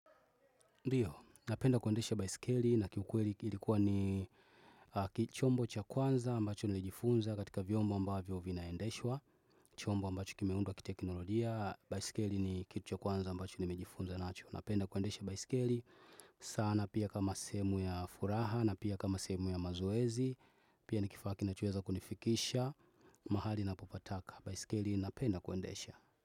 Ndio, napenda kuendesha baisikeli na kiukweli ilikuwa ni chombo cha kwanza ambacho nilijifunza katika vyombo ambavyo vinaendeshwa, chombo ambacho kimeundwa kiteknolojia, baisikeli ni kitu cha kwanza ambacho nilijifunza nacho, napenda kuendesha baisikeli, sana pia kama sehemu ya furaha na pia kama sehemu ya mazoezi, pia ni kifaa kinachoweza kunifikisha, mahali ninapopataka, baisikeli napenda kuendesha.